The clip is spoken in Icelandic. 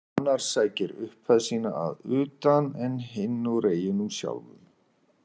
Annar sækir upphefð sína að utan en hinn úr eyjunum sjálfum.